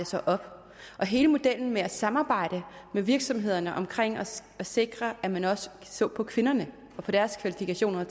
sig op hele modellen med at samarbejde med virksomhederne omkring at sikre at man også så på kvinderne og på at deres kvalifikationer